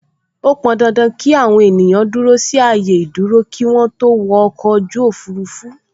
Ó pọn dandan ki àwọn ènìyàn dúró sí ààyè ìdúró kí wọn tó wọ ọkọ̀ ojú òfurufú